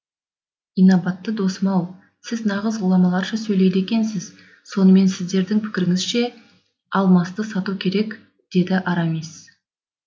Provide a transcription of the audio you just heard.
инабатты досым ау сіз нағыз ғұламаларша сөйлейді екенсіз сонымен сіздің пікіріңізше алмасты сату керек деді арамис